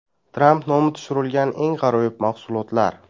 Tramp nomi tushirilgan eng g‘aroyib mahsulotlar.